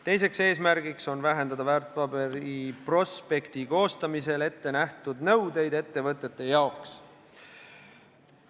Teine eesmärk on vähendada väärtpaberite prospekti kohta kehtivaid nõudeid ettevõtete jaoks.